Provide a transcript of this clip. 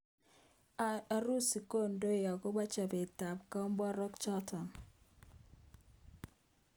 Urusi kondoi akobo chobet ab komborok chotok.